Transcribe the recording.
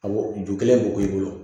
Awɔ ju kelen k'o k'i bolo